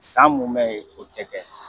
San munmɛ, o tɛ kɛ.